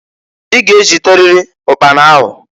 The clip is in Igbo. I ga-ejiteriri ụkpana ahụ.